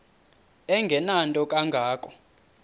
engenanto kanga ko